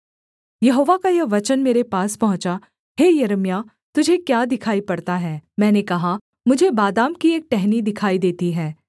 यहोवा का यह वचन मेरे पास पहुँचा हे यिर्मयाह तुझे क्या दिखाई पड़ता है मैंने कहा मुझे बादाम की एक टहनी दिखाई देती है